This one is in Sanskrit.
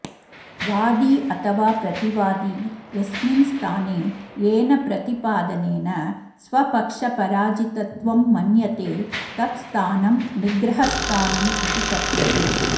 वादी अथवा प्रतिवादी यस्मिन् स्थाने येन प्रतिपादनेन स्वपक्षपराजितत्वं मन्यते तत्स्थानं निग्रहस्थानं इति कथ्यते